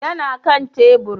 yana Kan tebur